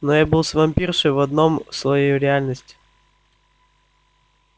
но я был с вампиршей в одном слое реальности